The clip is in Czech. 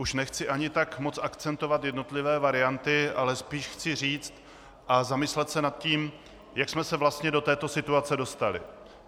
Už nechci ani tak moc akcentovat jednotlivé varianty, ale spíš chci říct a zamyslet se nad tím, jak jsme se vlastně do této situace dostali.